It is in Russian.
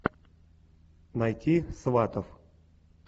найти сватов